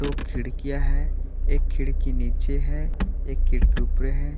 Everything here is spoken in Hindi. दो खिड़कियां है एक खिड़की नीचे है एक खिड़की ऊपरे है।